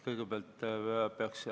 Aitäh!